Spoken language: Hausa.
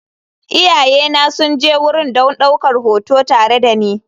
Iyayena sun je wurin don ɗaukar hoto tare da ni.